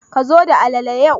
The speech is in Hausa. Ka zo da alalale yau